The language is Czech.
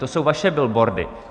To jsou vaše billboardy.